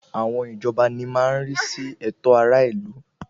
Àwọn ìjọba ní má ń rí sí ẹ̀tọ́ aráàlú